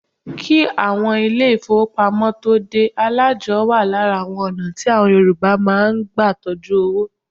Kí àwọn ilé ìfọwọ́pamo tóo dé, alájọ́ wa lára àwọn ọ̀nà tí àwọn Yorùbá má ń gbà tọjú owó.